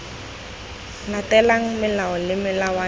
latelang melao le melawana le